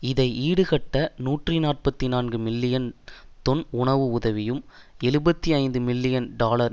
இதை ஈடுகட்ட நூற்றி நாற்பத்தி நான்கு மில்லியன் தொன் உணவு உதவியும் எழுபத்தி ஐந்து மில்லியன் டொலர்